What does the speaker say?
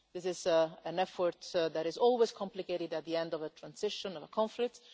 This is an effort that is always complicated at the end of a transition of a conflict.